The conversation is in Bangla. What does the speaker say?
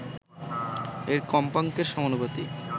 এর কম্পাঙ্কের সমানুপাতিক